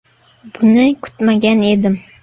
“Buni kutmagan edim.